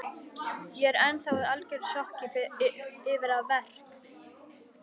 Ég er ennþá í algjöru sjokki yfir að verk